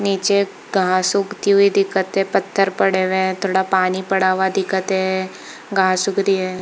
निचे घास उगती हुई दिखत हे पत्थर पड़े हुए है थोड़ा पानी पड़ा हुआ दिखत हे घास उग रही है।